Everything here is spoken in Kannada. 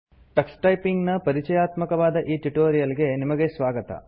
ಟಕ್ಸ್ ಟೈಪಿಂಗ್ ನ ಪರಿಚಯಾತ್ಮಕವಾದ ಈ ಟ್ಯುಟೋರಿಯಲ್ ಗೆ ನಿಮಗೆ ಸ್ವಾಗತ